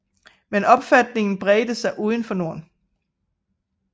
Men opfatningen bredte sig udenfor Norden